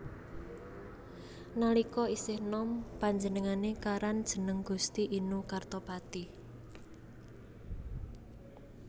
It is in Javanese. Nalika isih nom panjenengane karan jeneng Gusti Inu Kartapati